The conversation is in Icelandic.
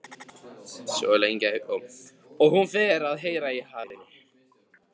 Og hún fer að heyra í hafinu.